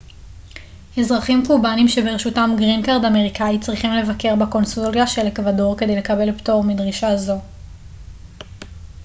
אזרחים קובנים שברשותם גרין קארד אמריקאי צריכים לבקר בקונסוליה של אקוודור כדי לקבל פטור מדרישה זו